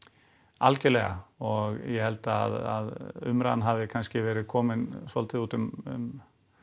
algjörlega og ég held að umræðan hafi kannski verið komin svolítið út um